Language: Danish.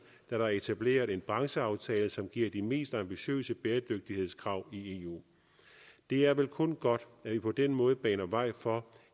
der er etableret en brancheaftale som giver de mest ambitiøse bæredygtighedskrav i eu det er vel kun godt at vi på den måde baner vej for